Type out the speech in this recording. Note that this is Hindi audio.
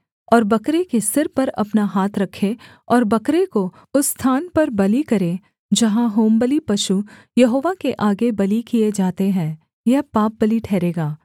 और बकरे के सिर पर अपना हाथ रखे और बकरे को उस स्थान पर बलि करे जहाँ होमबलि पशु यहोवा के आगे बलि किए जाते हैं यह पापबलि ठहरेगा